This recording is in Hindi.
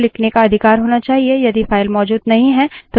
यदि file मौजूद नहीं है तो बनाई जाती है